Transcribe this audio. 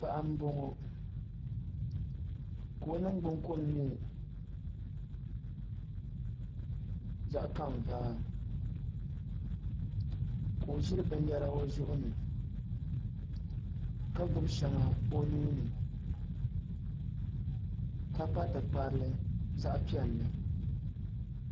Paɣa n boŋo ka o ningbunni kom nyɛ zaɣ kanvaa ka o ʒiri binyɛra o zuɣuni ka gbubi shɛŋa o nuuni ka kpa tikparili zaɣ piɛlli